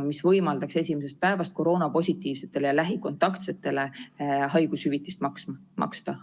mis võimaldaks esimesest päevast koroonapositiivsetele ja lähikontaktsetele haigushüvitist maksta, toetama.